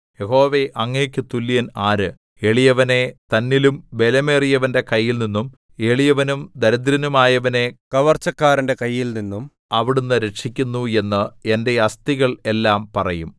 യഹോവേ അങ്ങേക്കു തുല്യൻ ആര് എളിയവനെ തന്നിലും ബലമേറിയവന്റെ കൈയിൽനിന്നും എളിയവനും ദരിദ്രനുമായവനെ കവർച്ചക്കാരന്റെ കൈയിൽനിന്നും അവിടുന്ന് രക്ഷിക്കുന്നു എന്ന് എന്റെ അസ്ഥികൾ എല്ലാം പറയും